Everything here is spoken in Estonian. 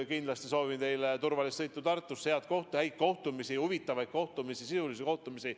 Kindlasti soovin teile turvalist sõitu Tartusse, häid kohtumisi, huvitavaid kohtumisi, sisulisi kohtumisi.